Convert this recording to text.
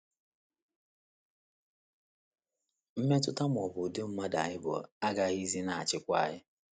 Mmetụta ma ọ bụ ụdị mmadụ anyị bụ agaghịzi na - achịkwa anyị.